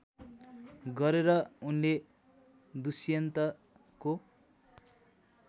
गरेर उनले दुष्यन्तको